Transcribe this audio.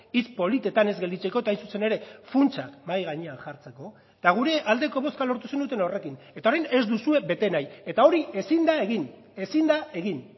hitz politetan ez gelditzeko eta hain zuzen ere funtsak mahai gainean jartzeko eta gure aldeko bozka lortu zenuten horrekin eta orain ez duzue bete nahi eta hori ezin da egin ezin da egin